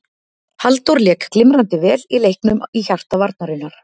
Halldór lék glimrandi vel í leiknum í hjarta varnarinnar.